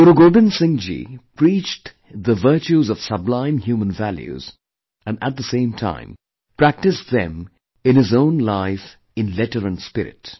Guru Gobind Singh ji preached the virtues of sublime human values and at the same time, practiced them in his own life in letter & spirit